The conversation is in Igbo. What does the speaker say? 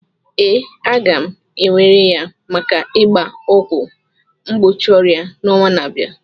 Ee, a ga m ewere ya maka ịgba ọgwụ mgbochi ọrịa n'ọnwa na abịa.